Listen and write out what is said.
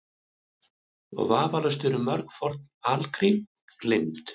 Og vafalaust eru mörg forn algrím gleymd.